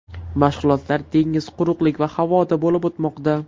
Mashg‘ulotlar dengiz, quruqlik va havoda bo‘lib o‘tmoqda.